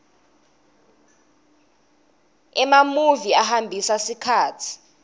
emamuvi ahambisa sikhatsi